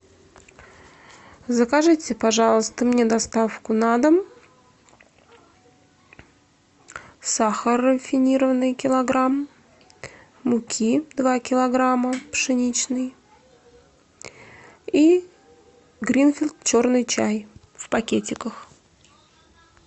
закажите пожалуйста мне доставку на дом сахар рафинированный килограмм муки два килограмма пшеничной и гринфилд черный чай в пакетиках